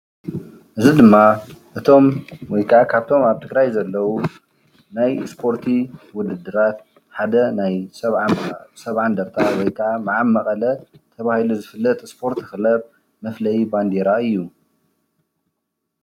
እዚ ድማ እቶም ወይ ከዓ ኣብ ትግራይ ዘለዉ ናይ ስፖርቲ ውድድራት ሓደ ናይ ሰብዓ እንደርታ ወይ ከዓ መዓም መቀል ተባሂሉ ዝፍለጥ ስፖርቲ ክለብ መፍለዪ ባንዴራ እዩ ።